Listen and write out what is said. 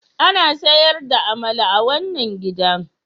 Ana sayar da amala a wannan gidan?